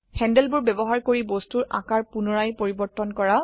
হ্যান্ডলবোৰ ব্যবহাৰ কৰি বস্তুৰ আকাৰ পুনৰায় পৰিবৰ্তন কৰা